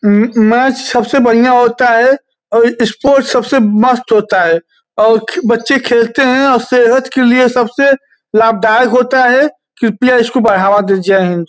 अम अम मैच सबसे बढियां होता हैं और स्पोर्ट्स सबसे मस्त होता हैं और बच्चे खेलते हैं और सेहत के लिए सबसे लाभदायक होता हैं। कृपया इसको बढावा दे जय हिंद।